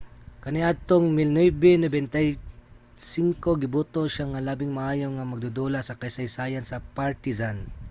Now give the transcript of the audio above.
kaniadtong 1995 giboto siya nga labing maayo nga magdudula sa kasaysayan sa partizan